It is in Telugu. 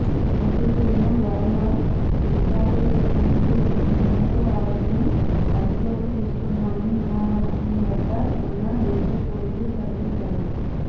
నోటీసులను వర్మ బేఖాతరు చేసేందుకు యత్నించడంతో ఆయన్ను అదుపులోకి తీసుకున్నామని విమానాశ్రయం వద్ద ఉన్న ఏపీ పోలీసులు ప్రకటించారు